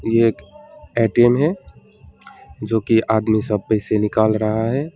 यह एक ए_टी_एम है जोकि आदमी सब पैसा निकाल रहा है।